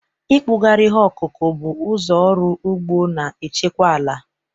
Ịkpụgharị ihe ọkụkụ bụ ụzọ ọrụ ugbo na-echekwa ala